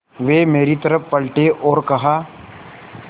वे मेरी तरफ़ पलटे और कहा